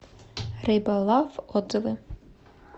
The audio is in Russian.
рыбалав отзывы